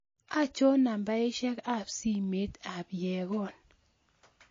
Achon nambaisyek ab simoit ab Yegon